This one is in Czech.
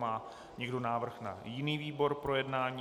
Má někdo návrh na jiný výbor k projednání?